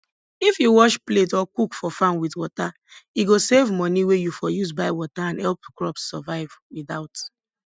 if you wash plate or cook for farm with water e go save money wey you for use buy water and help crops survive without